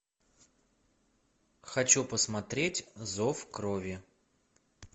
хочу посмотреть зов крови